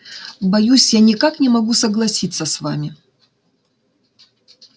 боюсь я никак не могу согласиться с вами